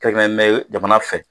jamana fɛ